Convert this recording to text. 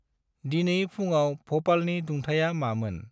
दिनै फुंआव भपालनि दुंथाया मामोन?